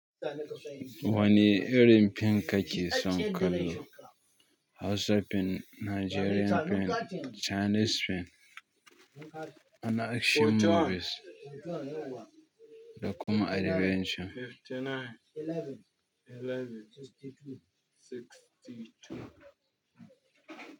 Wani erin fim kake son kallo? Hausa fim, Nigerian fim, Chinese fim, ana action movies da kuma adventure.